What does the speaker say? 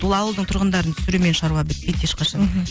ол ауылдың тұрғындарын түсірумен шаруа бітпейді ешқашанда мхм